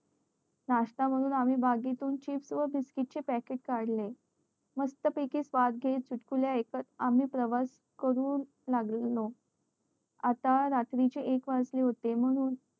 नाष्टा म्हणून आम्ही bag तुन chips व biscuit चे packet काढले मस्त पयकी स्वाद घेत आम्ही प्रवास करू लागलेलो आता रात्री चे एक वाजले होते म्हणून